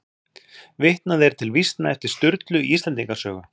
Vitnað er til vísna eftir Sturlu í Íslendinga sögu.